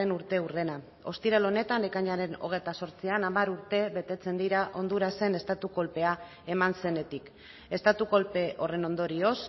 urteurrena ostiral honetan ekainaren hogeita zortzian hamar urte betetzen dira hondurasen estatu kolpea eman zenetik estatu kolpe horren ondorioz